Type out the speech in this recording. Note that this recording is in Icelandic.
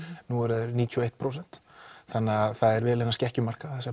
nú eru þeir níutíu og eitt prósent þannig það er vel innan skekkjumarka þessar